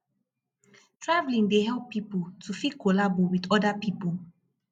traveling dey help pipo to fit collabo with other pipo